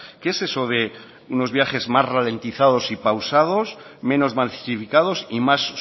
qué es eso de unos viajes más ralentizados y pausados menos masificados y más